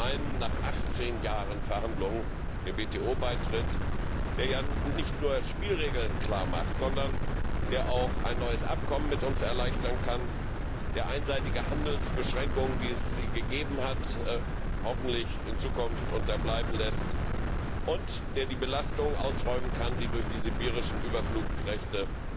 Das ist zum einen nach 18 Jahren Verhandlungen der WTO Beitritt, der ja nicht nur Spielregeln klar macht, sondern der auch ein neues Abkommen mit uns erleichtern kann, der einseitige Handelsbeschränkungen, wie es sie gegeben hat, hoffentlich in Zukunft unterbindet und der die Belastungen ausräumen kann, die durch die sibirischen Überflugrechte